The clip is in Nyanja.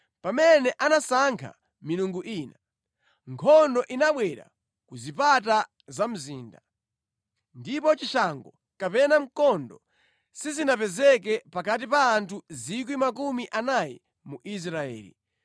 Pamene anasankha milungu ina, nkhondo inabwera ku zipata za mzinda, ndipo chishango kapena mkondo sizinapezeke pakati pa anthu 40,000 mu Israeli.